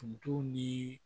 Ndugu ni